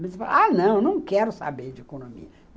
Mas eu falei, ah, não, não quero saber de economia.